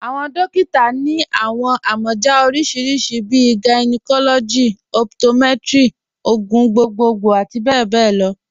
Awọn dòkìtà ni awọn amọja oríṣiríṣí bíi gynecology, optometry, ogun gbogbogbo ati bẹbẹ lọ.